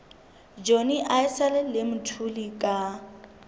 johnny issel le mthuli ka